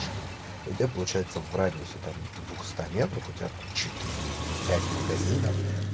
и у тебя получается в радиусе двухстах метров у тебя там четыре или пять магазинов